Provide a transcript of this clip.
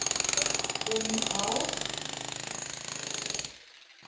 Fjögur, fimm ár.